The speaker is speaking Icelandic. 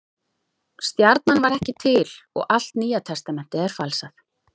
Stjarnan var ekki til og allt Nýja testamentið er falsað.